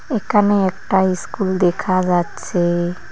এখানে একটা ইস্কুল দেখা যাচ্ছে।